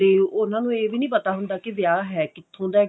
ਤੇ ਉਹਨਾ ਨੂੰ ਇਹ ਵੀ ਨਹੀਂ ਪਤਾ ਹੁੰਦਾ ਕਿ ਵਿਆਹ ਹੈ ਕਿੱਥੋਂ ਦਾ